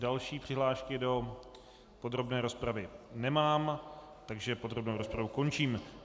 Další přihlášky do podrobné rozpravy nemám, takže podrobnou rozpravu končím.